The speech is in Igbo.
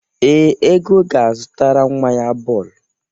Ee, Ego ga-azụtara nwa ya bọọlụ.